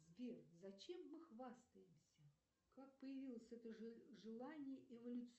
сбер зачем мы хвастаемся как появилось это желание